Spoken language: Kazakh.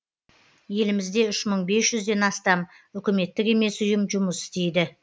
елімізде үш мың бес жүзден астам үкіметтік емес ұйым жұмыс істейді